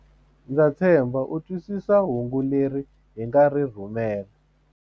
Ndza tshemba u twisisa hungu leri hi nga ri rhumela.